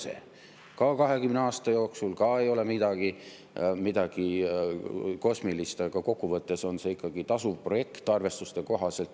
See ka 20 aasta jooksul ei ole midagi kosmilist, aga kokku võttes on see ikkagi tasuv projekt arvestuste kohaselt.